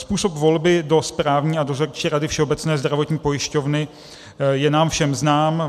Způsob volby do správní a dozorčí rady Všeobecné zdravotní pojišťovny je nám všem znám.